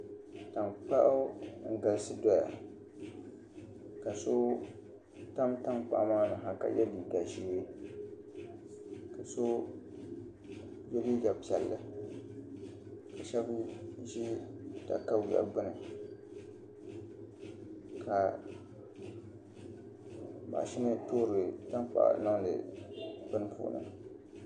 Tankpaɣu n galisi doya ka so tam tankpaɣu maa ni ha ka yɛ liiga ʒiɛ ka so yɛ liiga piɛlli ka shab ʒi katawiya gbuni ka mashini toori tankpaɣu niŋdi bini puuni